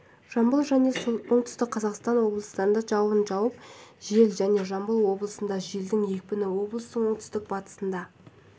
жамбыл және оңтүстік қазақстан облыстарында жауын жауып жел және жамбыл облысында желдің екпіні облыстың оңтүстік-батысында